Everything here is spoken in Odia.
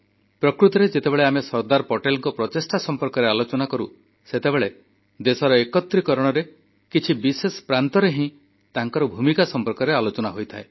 ପ୍ରକୃତରେ ଯେତେବେଳେ ଆମେ ସର୍ଦ୍ଦାର ପଟେଲଙ୍କ ପ୍ରଚେଷ୍ଟା ସମ୍ପର୍କରେ ଆଲୋଚନା କରୁ ସେତେବେଳେ ଦେଶ ଏକତ୍ରୀକରଣର କିଛି ନିର୍ଦ୍ଦିଷ୍ଟ ପ୍ରାନ୍ତରେ ହିଁ ତାଙ୍କର ଭୂମିକା ସମ୍ପର୍କରେ ଆଲୋଚନା ହୋଇଥାଏ